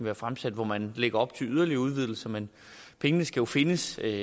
har fremsat hvor man lægger op til yderligere udvidelser men pengene skal findes og det